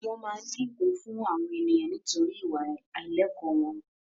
Wọ́n máa ń gẹ gun fún àwọn ènìyàn nítorí ìwà àìlẹ̀kọ́ wọn